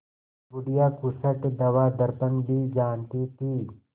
बुढ़िया खूसट दवादरपन भी जानती थी